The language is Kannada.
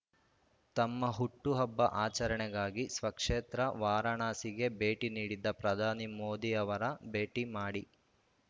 ತಮ್ಮ ಹುಟ್ಟು ಹಬ್ಬ ಆಚರಣೆಗಾಗಿ ಸ್ವಕ್ಷೇತ್ರ ವಾರಾಣಸಿಗೆ ಭೇಟಿ ನೀಡಿದ್ದ ಪ್ರಧಾನಿ ಮೋದಿ ಅವರ ಭೇಟಿ ಮಾಡಿ